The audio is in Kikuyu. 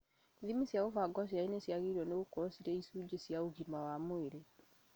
Ithimi cia gũbanga ũciari nĩciagĩrĩirwo nĩgũkorwo irĩ icunjĩ cia ũgima wa mwĩrĩ